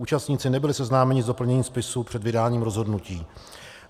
Účastníci nebyli seznámeni s doplněním spisu před vydáním rozhodnutí.